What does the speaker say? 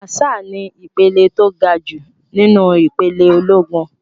Màṣáà ni ìpele tó gajù nínú ìpele ológun.